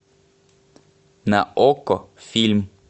на окко фильм